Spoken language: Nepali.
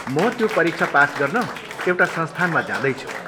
म त्यो परीक्षा पास गर्न एउटा संस्थानमा जाँदैछु।